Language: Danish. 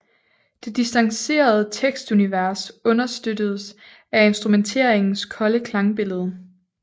Det distancerede tekstunivers understøttedes af instrumenteringens kolde klangbillede